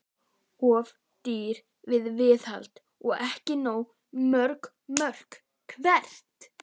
Of dýr í viðhaldi og ekki nógu mörg mörk Hvert?